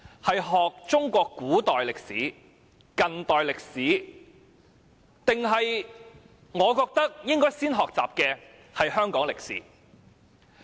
是學習中國古代歷史、中國近代歷史，還是我認為應先學習的香港歷史？